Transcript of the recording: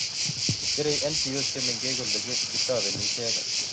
Kerei NGOs che mengech kole ketoboni icheket